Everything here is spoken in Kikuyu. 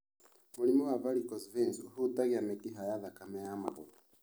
Mũrimũ wa varicose veins ũhutagia mĩkiha ya thakame ya magũrũ.